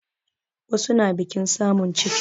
Wasu na biƙin samun ciki